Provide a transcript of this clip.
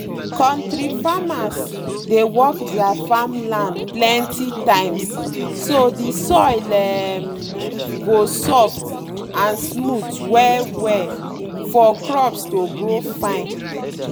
kontri farmers dey work their farm land plenty times so the soil um go soft and smooth well-well for crops to grow fine.